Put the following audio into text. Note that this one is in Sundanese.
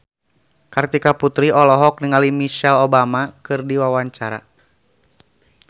Kartika Putri olohok ningali Michelle Obama keur diwawancara